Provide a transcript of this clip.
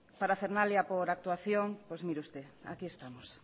parafernalia por actuación pues mire usted aquí estamos